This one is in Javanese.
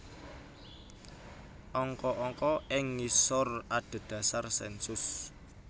Angka angka ing ngisor adhedhasar sènsus